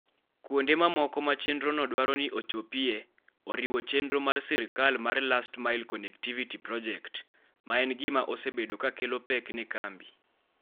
Kuonde mamoko ma chenrono dwaro ni ochopie oriwo chenro mar sirkal mar Last Mile Connectivity Project, ma en gima osebedo ka kelo pek ne kambi.